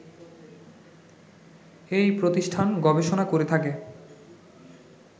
এই প্রতিষ্ঠান গবেষণা করে থাকে